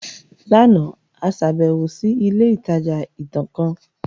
Lánàá, a ṣàbẹ̀wò sí ilé ìtajà ìtàn kan